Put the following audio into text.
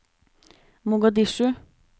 Mogadishu